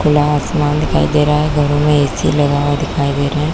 खुला आसमान लगा हुआ दिखाई दे रहा है घरों में ऐसी लगा हुआ दिखाई दे रहा है।